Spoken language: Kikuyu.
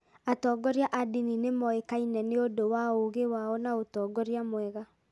Atongoria a ndini nĩ moĩkaine nĩ ũndũ wa ũũgĩ wao na ũtongoria mwega.